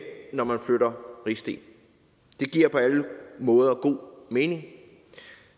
når man flytter rigsdel det giver på alle måder god mening